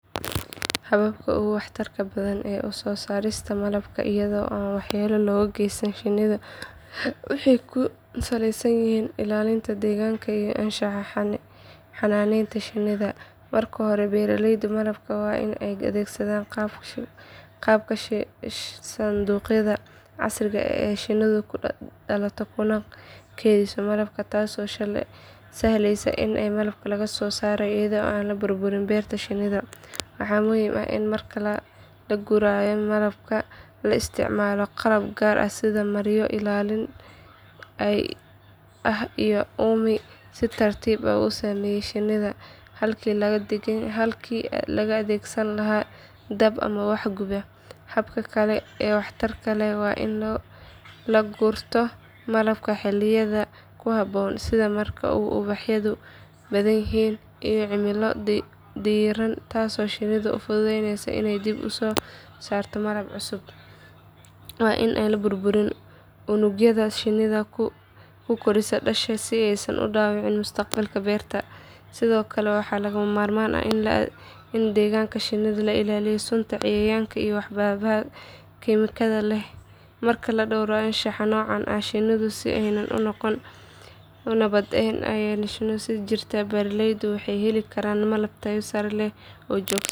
Hababka ugu waxtarka badan ee soo saarista malabka iyada oo aan waxyeello loo geysan shinni waxay ku saleysan yihiin ilaalinta deegaanka iyo anshaxa xanaaneynta shinnida. Marka hore beeraleyda malabka waa inay adeegsadaan qaabka sanduuqyada casriga ah ee shinnidu ku dhalato kuna kaydiso malabka taasoo sahleysa in malabka laga soo saaro iyada oo aan burburin beerta shinnida. Waxaa muhiim ah in marka la gurayo malabka la isticmaalo qalab gaar ah sida maryo ilaalin ah iyo uumi si tartiib ah u saameeya shinnida halkii laga adeegsan lahaa dab ama wax guba. Habka kale ee waxtarka leh waa in la gurto malabka xilliyada ku habboon sida marka ubaxyadu badan yihiin iyo cimilo diiran taasoo shinnida u fududeysa inay dib u soo saarto malab cusub. Waa in aan la burburin unugyada shinnidu ku koriso dhasha si aysan u dhaawacmin mustaqbalka beerta. Sidoo kale waxaa lagama maarmaan ah in deegaanka shinnida laga ilaaliyo sunta cayayaanka iyo waxyaabaha kiimikada leh. Marka la dhowro anshaxa noocan ah shinniduna si nabad ah ayey u sii jirtaa beeraleyduna waxay heli karaan malab tayo sare leh oo joogto ah.